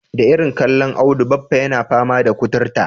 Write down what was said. Da irin kallon Audu baffa yana fama da kuturta.